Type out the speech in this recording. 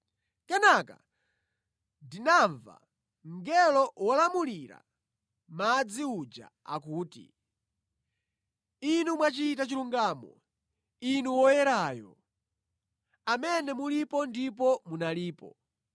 Kenaka ndinamva mngelo wolamulira madzi uja akuti, “Inu mwachita chilungamo, Inu Woyerayo, amene mulipo ndipo munalipo;